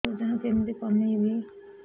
ସାର ଓଜନ କେମିତି କମେଇବି